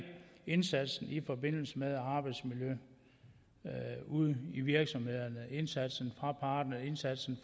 indsatsen i forbindelse med arbejdsmiljø ude i virksomhederne indsatsen fra parterne indsatsen